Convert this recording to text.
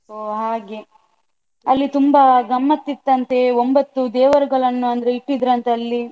ಹೋ ಹಾಗೆ. ಅಲ್ಲಿ ತುಂಬ ಗಮ್ಮತ್ತ್ ಇತ್ತಂತೆ ಒಂಭತ್ತು ದೇವರುಗಳನ್ನ ಅಂದ್ರೆ ಇಟ್ಟಿದ್ರಂತೆ ಅಲ್ಲಿ.